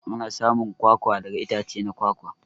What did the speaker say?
Ana samun kwakwa daga itace na kwakwa.